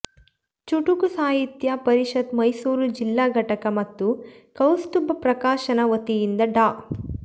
ಚುಟುಕು ಸಾಹಿತ್ಯ ಪರಿಷತ್ ಮೈಸೂರು ಜಿಲ್ಲಾ ಘಟಕ ಮತ್ತು ಕೌಸ್ತುಭ ಪ್ರಕಾಶನ ವತಿಯಿಂದ ಡಾ